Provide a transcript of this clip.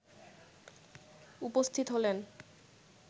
উপস্থিত হলেন